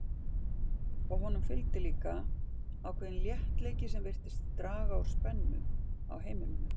Og honum fylgdi líka ákveðinn léttleiki sem virtist draga úr spennu á heimilinu.